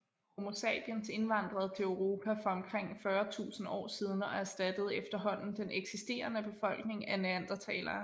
Homo sapiens indvandrede til Europa for omkring 40 000 år siden og erstattede efterhånden den eksisterende befolkning af neandertalere